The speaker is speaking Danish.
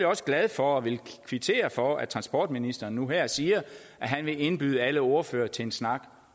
også glad for og vil kvittere for at transportministeren nu her siger at han vil indbyde alle ordførere til en snak